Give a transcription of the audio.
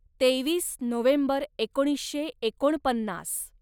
तेवीस नोव्हेंबर एकोणीसशे एकोणपन्नास